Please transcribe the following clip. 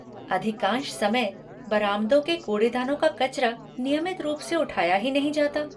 अधिकांश समय, बरामदों के कूड़ेदानों का कचरा, नियमित रूप से उठाया ही नहीं जाता।